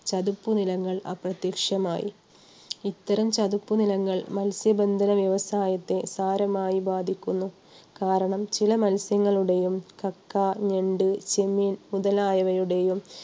ചതിപ്പുനിലങ്ങൾ അപ്രത്യക്ഷമായി. ഇത്തരം ചതിപ്പുനിലങ്ങൾ മത്സ്യബന്ധന വ്യവസായത്തെ സാരമായി ബാധിക്കുന്നു. കാരണം ചില മത്സ്യങ്ങളുടെയും കക്ക, ഞണ്ട്, ചെമ്മീൻ, മുതലായവയുടെയും